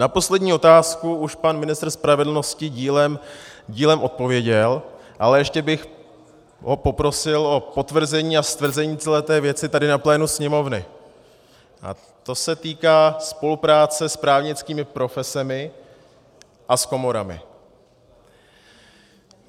Na poslední otázku už pan ministr spravedlnosti dílem odpověděl, ale ještě bych ho poprosil o potvrzení a stvrzení celé té věci tady na plénu Sněmovny, a to se týká spolupráce s právnickými profesemi a s komorami.